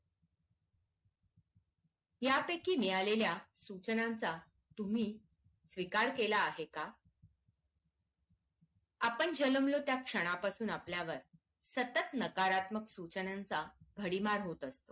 यापैकी मिळालेल्या सूचनांचा तुम्ही स्वीकार केला आहे का आपण जलमलो त्या क्षणापासून आपल्यावर सतत नकारात्मक सूचनांचा भडीमार होत असतो